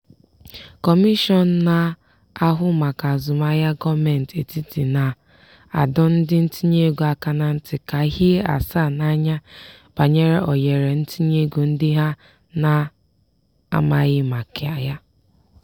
kọmishọn na-ahụ maka azụmahịa gọọmentị etiti na-adọ ndị ntinyeego aka na ntị ka hie asaa n'anya banyere ohere ntinyeego ndị ha na-amaghị maka ya.